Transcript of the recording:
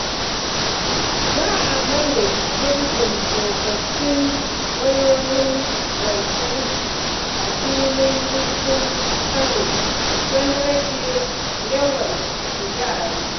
Za a maye gurbin tsofaffin wayoyin lantarki a filin jirgin Kano don rage yawan kuzari.